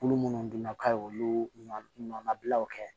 Kulu minnu dun na k'a ye olu ɲɔnnabilaw kɛ